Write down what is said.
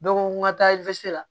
n ka taa la